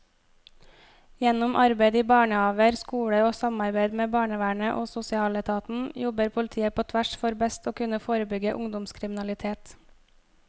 Gjennom arbeid i barnehaver, skoler og samarbeid med barnevernet og sosialetaten jobber politiet på tvers for best å kunne forebygge ungdomskriminalitet.